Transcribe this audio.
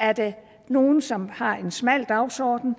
er det nogle som har en smal dagsorden